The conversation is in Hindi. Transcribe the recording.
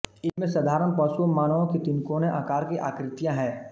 इनमें साधारण पशुओं मानवों की तिकोने आकार की आकृतियां हैं